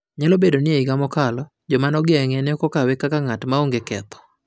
Nyalo bedo ni e higa mokalo, joma nogeng`e ne ok okawe kaka ng'at "maonge ketho"